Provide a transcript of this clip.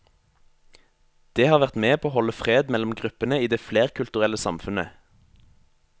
Det har vært med på å holde fred mellom gruppene i det flerkulturelle samfunnet.